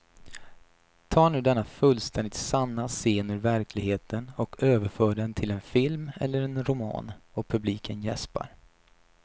Ta nu denna fullständigt sanna scen ur verkligheten och överför den till en film eller en roman och publiken jäspar.